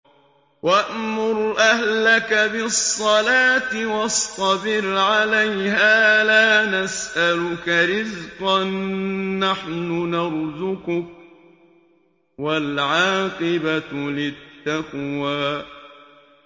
وَأْمُرْ أَهْلَكَ بِالصَّلَاةِ وَاصْطَبِرْ عَلَيْهَا ۖ لَا نَسْأَلُكَ رِزْقًا ۖ نَّحْنُ نَرْزُقُكَ ۗ وَالْعَاقِبَةُ لِلتَّقْوَىٰ